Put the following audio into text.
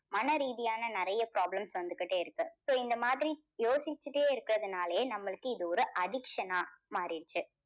மனரீதியான நிறைய problems வந்துகிட்டே இருக்கு. so இந்த மாதிரி யோசிச்சிட்டே இருக்கறதுனாலேயே நம்மளுக்கு இது ஒரு addiction ஆ மாறிடுச்சு.